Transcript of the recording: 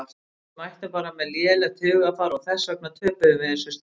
Við mættum bara með lélegt hugarfar og þess vegna töpuðum við þessum stigum.